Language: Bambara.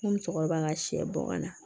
N ko musokɔrɔba ka sɛ bɔ ka na